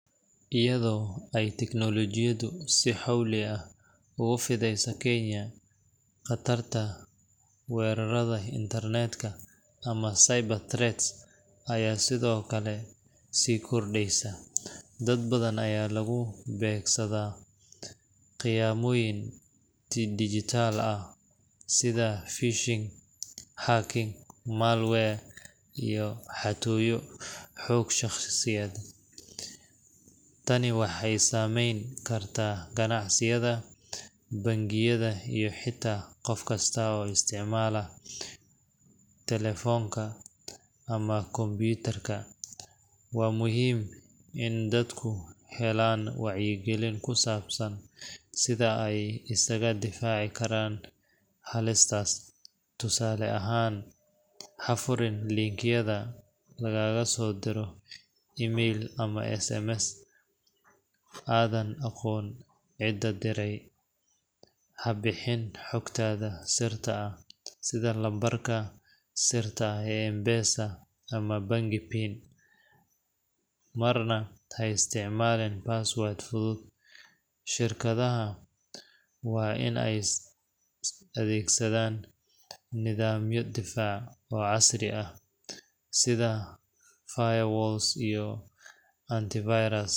Iyado ay teknolojido si xowli ah ogu fideyso Kenya qatarta warerada intarnetka ama cyber threats ata sidokake si kordeysa, dad badan aya lugu begsada ,qiyamoyin si dijital ah sida fishing, hacking malwire iyo xatooyo xug shaqsiyeed. Taani waxay saameyn kartaa ganacsiyada bangiyada iyo xita qof kista oo isticmaala talefoonka ama kompyutarka. Waa muhiim in dadku helan wacyi gelin kusabsan sida ay isaga difaci karaan halistaas, tusale ahan hafurin linkyada lagagaso diro email ama sms adan aqon cida direy, habixin xugtada sirta ah sida nambarka sirta ah ee mpesa ama bangi bin marna ha isticmaalin baswad fudud, shirkadaha waa inay adeegsadan nidamyo difaac oo casri ah sida fire walls ama antivirus